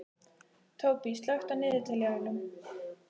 Tóbý, slökktu á niðurteljaranum.